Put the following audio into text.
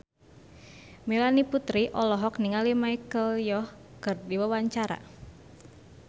Melanie Putri olohok ningali Michelle Yeoh keur diwawancara